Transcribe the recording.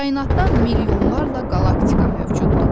Kainatda milyonlarla qalaktika mövcuddur.